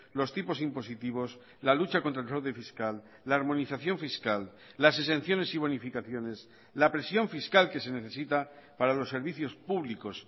los tipos impositivos la lucha contra el fraude fiscal la armonización fiscal las exenciones y bonificaciones la presión fiscal que se necesita para los servicios públicos